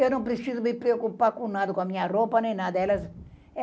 Eu não preciso me preocupar com nada, com a minha roupa nem nada.